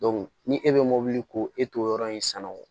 ni e bɛ mobili ko e t'o yɔrɔ in sanubɔ